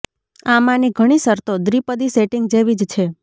આમાંની ઘણી શરતો દ્વિપદી સેટિંગ જેવી જ છે